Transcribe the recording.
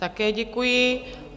Také děkuji.